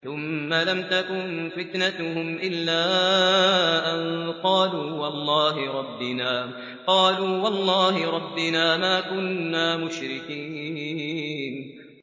ثُمَّ لَمْ تَكُن فِتْنَتُهُمْ إِلَّا أَن قَالُوا وَاللَّهِ رَبِّنَا مَا كُنَّا مُشْرِكِينَ